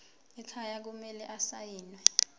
ekhaya kumele asayiniwe